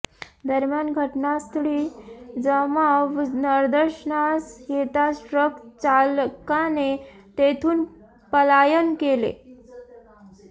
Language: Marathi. दरम्यान घटनास्थळी जमाव निदर्शनास येताच ट्रक चालकाने तेथून पलायन केले